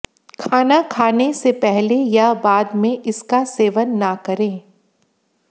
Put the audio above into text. खाना खाने से पहले या बाद में इसका सेवन न करें